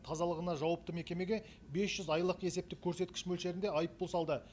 тазалығына жауапты мекемеге бес жүз айлық есептік көрсеткіш мөлшерінде айыппұл салды